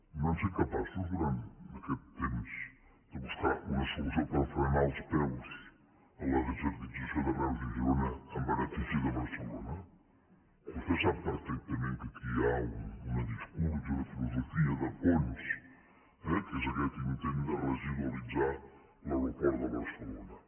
no han set capaços durant aquest temps de buscar una solució per frenar els peus a la desertització de reus i girona en benefici de barcelona vostè sap perfectament que aquí hi ha un discurs i una filosofia de fons que és aquest intent de residualitzar l’aeroport de barcelona